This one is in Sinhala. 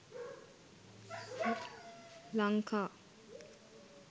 lanka